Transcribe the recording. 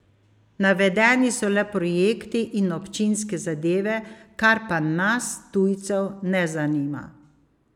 Navedeni so le projekti in občinske zadeve, kar pa nas, tujcev, ne zanima.